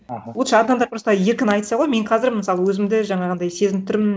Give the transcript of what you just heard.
аха лучше адамдар просто еркін айтса ғой мен қазір мысалы өзімді жаңағындай сезініп тұрмын